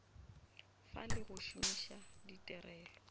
fa le go šomiša ditirelo